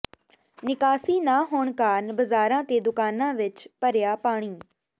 ਨਿਕਾਸੀ ਨਾ ਹੋਣ ਕਾਰਨ ਬਾਜ਼ਾਰਾਂ ਤੇ ਦੁਕਾਨਾਂ ਵਿੱਚ ਭਰਿਆ ਪਾਣੀ